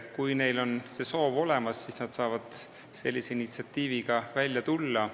Kui neil on see soov olemas, siis nad saavad sellise initsiatiiviga välja tulla.